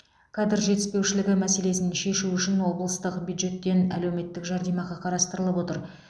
кадр жетіспеушілігі мәселесін шешу үшін облыстық бюджеттен әлеуметтік жәрдемақы қарастырылып отыр